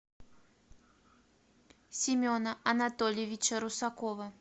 семена анатольевича русакова